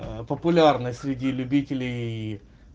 популярность среди любителей